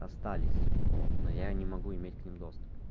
остались вот но я не могу иметь к ним доступ